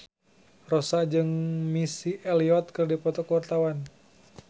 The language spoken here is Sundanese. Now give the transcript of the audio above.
Rossa jeung Missy Elliott keur dipoto ku wartawan